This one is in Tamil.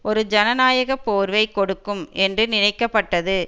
ஒரு ஜனநாயக போர்வை கொடுக்கும் என்று நினைக்கப்பட்டது